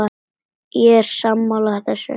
Ég er sammála þessu.